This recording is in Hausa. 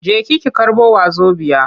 Jeki ki karɓo wazobiya!